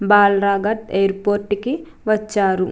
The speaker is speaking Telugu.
బాలరాఘత్ ఎయిర్పోర్ట్ కి వచ్చారు.